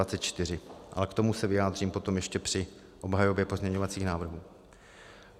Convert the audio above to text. Ale k tomu se vyjádřím potom ještě při obhajobě pozměňovacích návrhů.